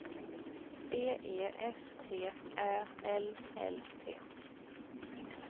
B E S T Ä L L T